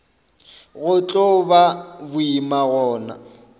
go tlo ba boima gona